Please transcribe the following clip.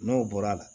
N'o bɔra la